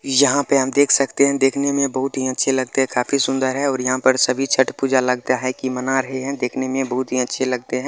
यहाँ पे हम देख सकते है देखने में बहोत ही अच्छे लगते है काफी सुंदर है और यहाँ पर सभी छठ पूजा लगता है की मना रहे है देखने में बहोत ही अच्छे लगते है।